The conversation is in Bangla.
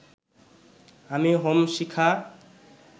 আমি হোম শিখা